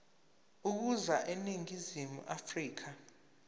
ukuza eningizimu afrika